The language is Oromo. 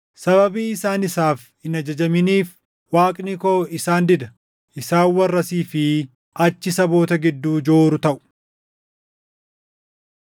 Sababii isaan isaaf hin ajajaminiif, Waaqni koo isaan dida; isaan warra asii fi achi saboota gidduu jooru taʼu.